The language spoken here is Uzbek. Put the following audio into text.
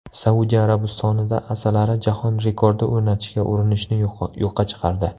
Saudiya Arabistonida asalari jahon rekordi o‘rnatishga urinishni yo‘qqa chiqardi.